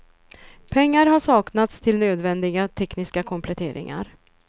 Pengar har saknats till nödvändiga tekniska kompletteringar.